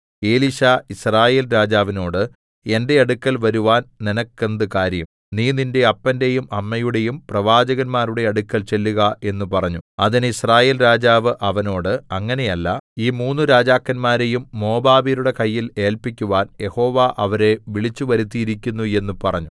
എലീശാ യിസ്രായേൽ രാജാവിനോട് എന്റെ അടുക്കൽ വരുവാൻ നിനക്കെന്തു കാര്യം നീ നിന്റെ അപ്പന്റെയും അമ്മയുടെയും പ്രവാചകന്മാരുടെ അടുക്കൽ ചെല്ലുക എന്ന് പറഞ്ഞു അതിന് യിസ്രായേൽ രാജാവ് അവനോട് അങ്ങനെയല്ല ഈ മൂന്നു രാജാക്കന്മാരെയും മോവാബ്യരുടെ കയ്യിൽ ഏല്പിക്കുവാൻ യഹോവ അവരെ വിളിച്ചുവരുത്തിയിരിക്കുന്നു എന്ന് പറഞ്ഞു